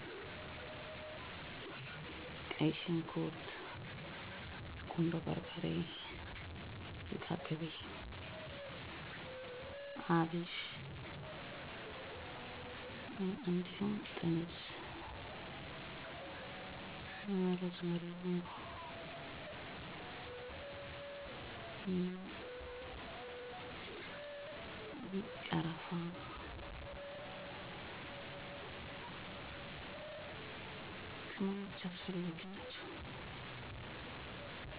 የኢትዮጵያ ምግብ ልዩ የሚያደርገው ቅመማ ቅመሞችን የመቀላቀል ስራ ስለምናደርግ ነው። *አወ አሉ፦ ጥሩ ለኢትዮጵያዊ ምግብ ማብሰል አስፈላጊ ናቸው ብዬ የማስባቸው ቅመሞች የሚከተሉት ናቸው: * በርበሬ *ቃሪያ * ኮረሪማ * ሚጥሚጣ * ዝንጅብል * ነጭ ሽንኩርት * እርድ * አብሽ *እንስላል፦ ከበርበሬ ጋር ሲሆን ጥሩ ጣዕም አለው *ጥቁር አዝሙድ(አቦስዳ)ለዳቦ ጥሩ ጣዕም ያስገኛል።